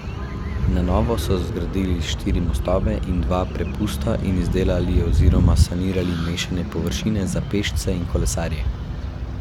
Na novo so zgradili štiri mostove in dva prepusta in izdelali oziroma sanirali mešane površine za pešce in kolesarje.